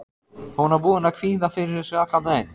Hún var búin að kvíða fyrir þessu allan daginn.